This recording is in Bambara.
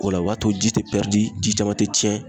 O la o b'a to ji te ji caman tɛ tiɲɛ.